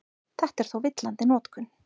Þetta er þó villandi notkun.